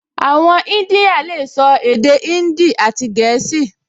Àwọn ìdínyà lè sọ èdè índì àti gẹ̀ẹ́sì